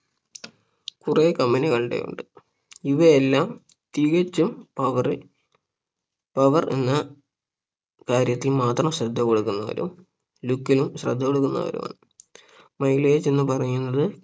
കുറെ company കളുടെ ഉണ്ട് ഇവയെല്ലാം തികച്ചും power power എന്ന കാര്യത്തിൽ മാത്രം ശ്രദ്ധ കൊടുക്കുന്നവരും look ലും ശ്രദ്ധ കൊടുക്കുന്നവരുമാണ് mileage എന്നുപറയുന്നത്